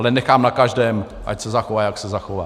Ale nechám na každém, ať se zachová, jak se zachová.